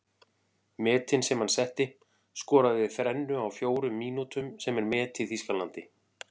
Metin sem hann setti:- Skoraði þrennu á fjórum mínútum sem er met í Þýskalandi.